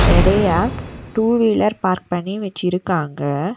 நெறையா two wheeler park பண்ணி வச்சிருக்காங்க.